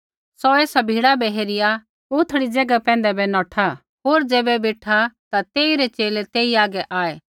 सौ एसा भीड़ा बै हेरिया उथड़ी ज़ैगा पैंधा बै नौठा होर ज़ैबै बेठा ता तेइरै च़ेले तेई हागै आऐ